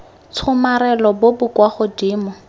tshomarelo bo bo kwa godimo